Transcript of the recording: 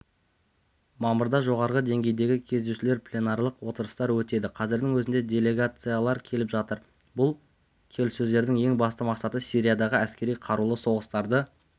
мамырда жоғарғы деңгейдегі кездесулер пленарлық отырыстар өтеді қазірдің өзінде делегациялар келіп жатыр бұл келіссөздердің ең басты мақсаты сириядағы әскери қарулы соғыстарды